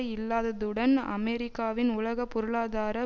இல்லாததுடன் அமெரிக்காவின் உலக பொருளாதார